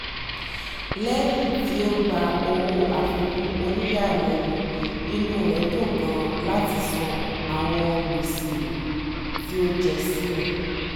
lẹ́yìn tí ó gba owó àfikún oníyàlẹ́nu inú rẹ̀ dùn gan-an láti san àwọn gbèsè tí ó jẹ sílẹ̀